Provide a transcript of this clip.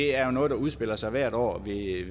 er noget der udspiller sig hvert år